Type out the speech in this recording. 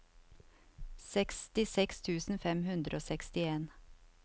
sekstiseks tusen fem hundre og sekstien